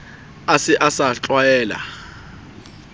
a se a sa tlwaela